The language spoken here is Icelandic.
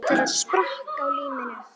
Einn þeirra sprakk á limminu